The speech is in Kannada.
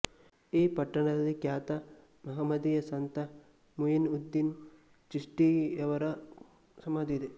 ಈ ಪಟ್ಟಣದಲ್ಲಿ ಖ್ಯಾತ ಮಹಮದೀಯ ಸಂತ ಮುಯಿನ್ಉದ್ದೀನ್ ಚಿಸ್ಠಿಯವರ ಸಮಾಧಿಯಿದೆ